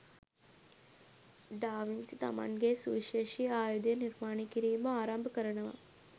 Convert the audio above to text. ඩා Vinci තමන්ගේ සුවිශේෂී ආයුධය නිර්මාණය කිරීම ආරම්භ කරනවා